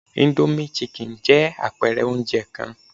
Indomie chicken jẹ́ àpẹ̀ẹrẹ oúnjẹ kan